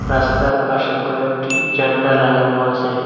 রাস্তার পাশে কয়েকটি জান্ডা লাগানো আসে।